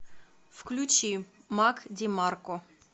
включи мак димарко